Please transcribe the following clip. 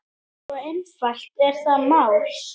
Svo einfalt er það mál.